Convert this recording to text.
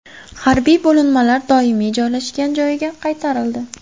Harbiy bo‘linmalar doimiy joylashgan joyiga qaytarildi.